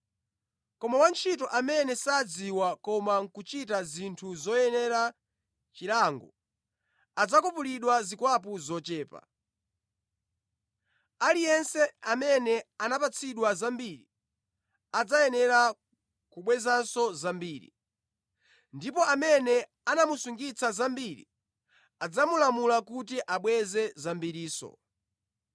Koma wantchito amene sadziwa koma nʼkuchita zinthu zoyenera chilango, adzakwapulidwa zikwapu zochepa. Aliyense amene anapatsidwa zambiri, adzayenera kubwezanso zambiri; ndipo amene anamusungitsa zambiri, adzamulamula kuti abweze zambirinso.”